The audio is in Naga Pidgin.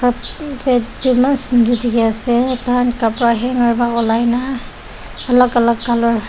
bed toh eman sundur teki ase tsikan kabra hangar bara olaikina alak alak colour .